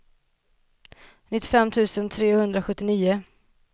nittiofem tusen trehundrasjuttionio